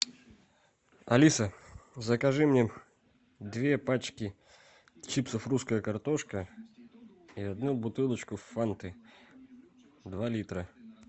алиса закажи мне две пачки чипсов русская картошка и одну бутылочку фанты два литра